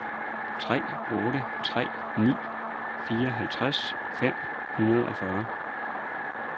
tre otte tre ni fireoghalvtreds fem hundrede og fyrre